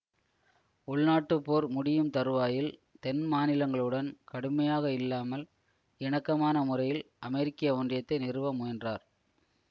உள்நாட்டுப் போர் முடியும் தறுவாயில் தென் மாநிலங்களுடன் கடுமையாக இல்லாமல் இணக்கமான முறையில் அமெரிக்க ஒன்றியத்தை நிறுவ முயன்றார்